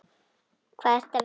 Hvar ertu að vinna?